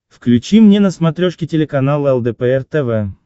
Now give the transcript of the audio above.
включи мне на смотрешке телеканал лдпр тв